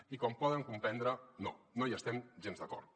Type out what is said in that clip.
i com poden comprendre no no hi estem gens d’acord